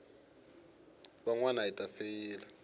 van wana hi ta feyila